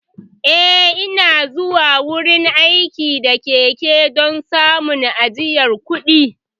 Eh, Ina zuwa wurin aiki da keke don samun ajiye kuɗi.